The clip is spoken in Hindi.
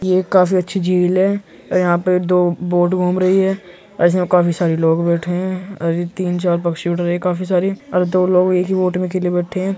ये काफी अच्छी झील है। यहां पर दो बोट घूम रही हैं इसमें काफी सारे लोग बेठे हैं और ये तीन-चार पक्षी उड़ रहे हैं काफी सारे और दो लोग एक ही बोट में अकेले बैठे हैं।